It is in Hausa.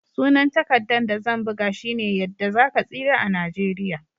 Sunan takaddan da zan buga shine"Yadda za ka tsira a'Nijeriya."